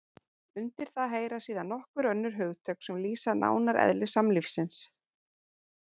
Undir það heyra síðan nokkur önnur hugtök sem lýsa nánar eðli samlífisins.